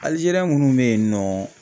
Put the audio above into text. ALIZERIE minnu bɛ yennɔ.